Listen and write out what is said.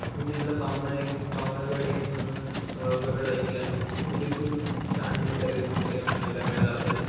मी तिथलं पावणा पावणा गड म्हणून अ गड ऐकलंय तर तिथे खूप छान निसर्ग सौंदर्य पाहायला मिळेल आपल्याला.